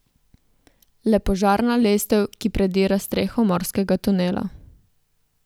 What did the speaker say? Le požarna lestev, ki predira streho morskega tunela.